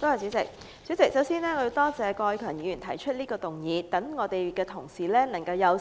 代理主席，首先我要多謝郭偉强議員提出這項議案，讓我們有